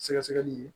Sɛgɛsɛgɛli ye